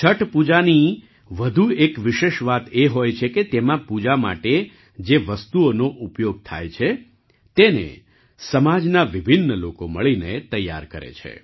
છઠ પૂજાની વધુ એક વિશેષ વાત એ હોય છે કે તેમાં પૂજા માટે જે વસ્તુઓનો ઉપયોગ થાય છે તેને સમાજના વિભિન્ન લોકો મળીને તૈયાર કરે છે